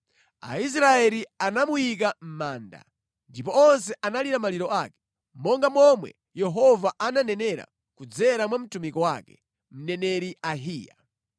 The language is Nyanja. Aisraeli anamuyika mʼmanda, ndipo onse analira maliro ake, monga momwe Yehova ananenera kudzera mwa mtumiki wake, mneneri Ahiya.